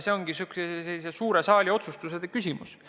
See on suure saali otsustuse küsimus.